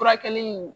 Furakɛli in